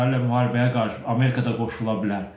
İsraillə müharibəyə qarışıb, Amerikada qoşula bilər.